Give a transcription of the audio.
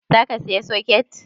Za ka saya soket?